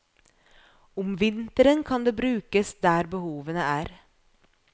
Om vinteren kan det brukes der behovene er.